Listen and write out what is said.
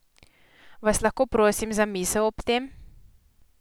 Vas lahko prosim za misel ob tem?